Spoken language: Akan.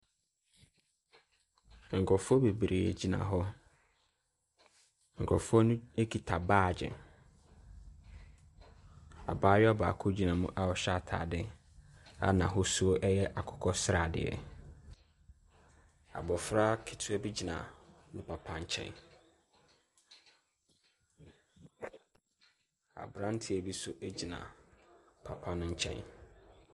Nkrɔfoɔ bebree gyina hɔ. Nkrɔfoɔ nokita baage. Abaayewa baako gyina mu a a ɔhyɛ ataade a ɛyɛ akokɔsrade. Abofra ketewa bi gyina papa nkyɛ. Abranteɛ bi nso gyina papa no nkyɛn.